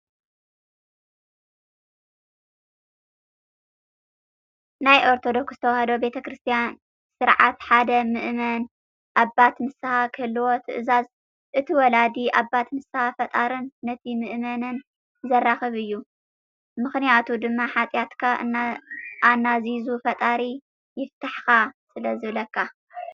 ናይ ኦርቶዶክስ ተዋህዶ ቤተ ክርስትያን ስርዓት ሓደ ምእመን ኣባት ንስሃ ክህልዎ ትእዝዝ፡፡ እቲ ወላዲ ኣባት ንስሃ ፈጣርን ነቲ ምእመንን ዘራኽብ እዩ፡፡ ም/ቱ ድማ ሓጥያትካ ኣናዚዙ ፈጣሪ ይፍታሕኻ ስለዝብለካ፡፡